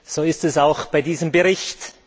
So ist es auch bei diesem Bericht.